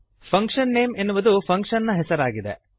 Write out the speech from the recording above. function name ಎನ್ನುವುದು function ನ ಹೆಸರು ಆಗಿದೆ